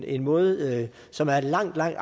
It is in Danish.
en måde som er langt langt